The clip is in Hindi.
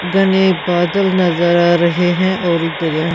घने बादल नजर आ रहे हैं और एक दरिया--